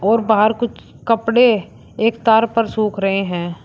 और बाहर कुछ कपड़े एक तार पर सूख रहे हैं।